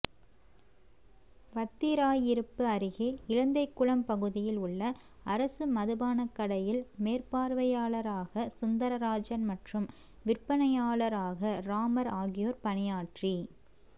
வத்திராயிருப்பு அருகே இலந்தைகுளம் பகுதியில் உள்ள அரசு மதுபானக் கடையில் மேற்பாா்வையாளராக சுந்தரராஜன் மற்றும் விற்பனையாளராக ராமா் ஆகியோா் பணியாற்றி